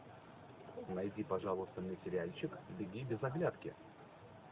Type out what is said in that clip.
найди пожалуйста мне сериальчик беги без оглядки